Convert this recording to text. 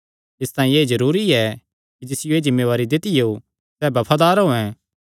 इसतांई एह़ जरूरी ऐ कि जिसियो एह़ जिम्मेवारी दित्तियो सैह़ बफादार होयैं